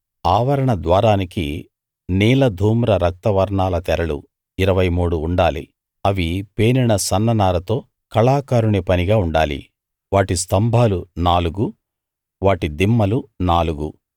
ఆవరణ ద్వారానికి నీల ధూమ్ర రక్త వర్ణాల తెరలు ఇరవై మూడు ఉండాలి అవి పేనిన సన్ననారతో కళాకారుని పనిగా ఉండాలి వాటి స్తంభాలు నాలుగు వాటి దిమ్మలు నాలుగు